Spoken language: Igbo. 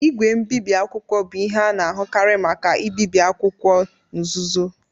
Igwe mbibi akwụkwọ bụ ihe a na-ahụkarị maka ibibi akwụkwọ nzuzo.